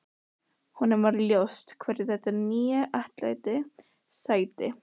Honum varð ljóst hverju þetta nýja atlæti sætti.